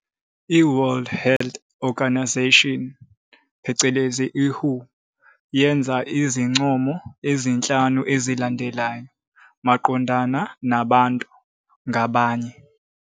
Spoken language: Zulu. I-World Health Organization, WHO, yenza izincomo ezinhlanu ezilandelayo maqondana nabantu ngabanye.